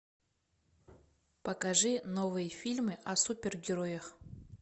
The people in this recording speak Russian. покажи новые фильмы о супергероях